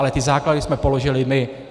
Ale ty základy jsme položili my.